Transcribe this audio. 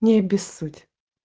не обессудь